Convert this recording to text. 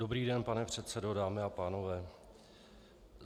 Dobrý den, pane předsedo, dámy a pánové.